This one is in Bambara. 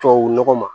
Tubabu nɔgɔ ma